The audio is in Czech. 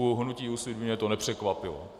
U hnutí Úsvit by mě to nepřekvapilo.